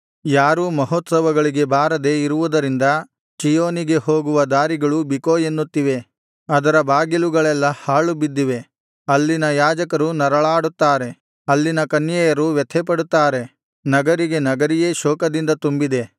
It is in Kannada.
ಯಾರೂ ಮಹೋತ್ಸವಗಳಿಗೆ ಬಾರದೆ ಇರುವುದರಿಂದ ಚೀಯೋನಿಗೆ ಹೋಗುವ ದಾರಿಗಳು ಬಿಕೋ ಎನ್ನುತ್ತಿವೆ ಅದರ ಬಾಗಿಲುಗಳೆಲ್ಲಾ ಹಾಳು ಬಿದ್ದಿವೆ ಅಲ್ಲಿನ ಯಾಜಕರು ನರಳಾಡುತ್ತಾರೆ ಅಲ್ಲಿನ ಕನ್ಯೆಯರು ವ್ಯಥೆಪಡುತ್ತಾರೆ ನಗರಿಗೆ ನಗರಿಯೇ ಶೋಕದಿಂದ ತುಂಬಿದೆ